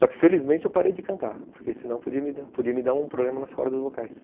Só que felizmente eu parei de cantar, porque senão podia me dar um problema nas cordas vocais.